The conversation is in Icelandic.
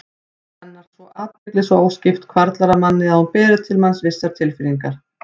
Augnaráð hennar, athygli svo óskipt, hvarflar að manni að hún beri til manns vissar tilfinningar.